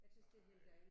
Jeg tys det er helt dejlig